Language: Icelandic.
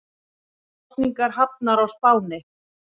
Kosningar hafnar á Spáni